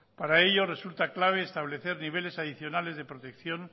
para ello resulta clave establecer niveles adicionales de protección